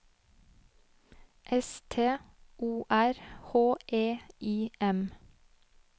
S T O R H E I M